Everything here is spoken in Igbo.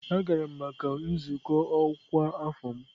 Agara m maka nzukọ ọkwa afọ m.